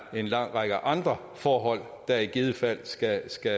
en lang række andre forhold der i givet fald skal skal